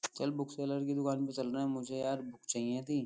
चल book seller के दुकान पे चलना है मुझे यार बुक चाहिए थी।